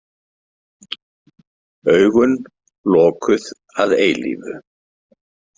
Augun lokuð að eilífu.